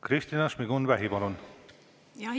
Kristina Šmigun-Vähi, palun!